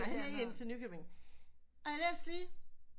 Helt ind til Nykøbing og jeg læste lige